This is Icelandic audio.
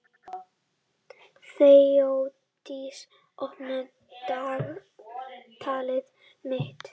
Þeódís, opnaðu dagatalið mitt.